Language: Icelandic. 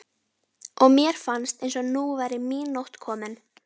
og mér fannst eins og nú væri mín nótt komin.